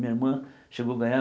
Minha irmã chegou ganhar.